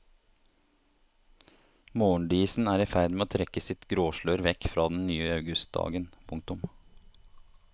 Morgendisen er i ferd med å trekke sitt gråslør vekk fra den nye augustdagen. punktum